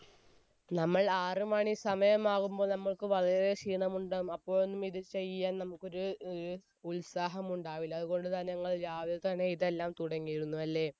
നമ്മൾ ആറുമണി സമയം ആവുംപ്പോൾ നമ്മൾക്ക് വളരെ ക്ഷീണമുണ്ടാവും അപ്പോയൊന്നും ഇത് ചെയ്യാൻ നമ്മുക്കൊരു ഉത്സാഹം ഉണ്ടാവില്ല അതുകൊണ്ട് തന്നെ ഞങ്ങൾ രാവിലെ തന്നെ ഇതെല്ലാം തുടങ്ങിയിരുന്നു അല്ലെ